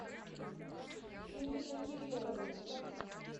ирина кирилловна